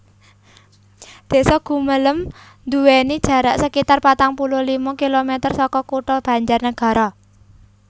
Désa Gumelem nduwèni jarak sekitar patang puluh lima kilomèter saka Kutha Banjarnagara